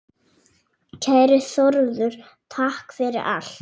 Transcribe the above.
Kæri Þórður, takk fyrir allt.